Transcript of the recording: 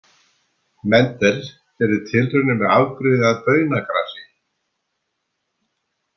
Mendel gerði tilraunir með afbrigði af baunagrasi.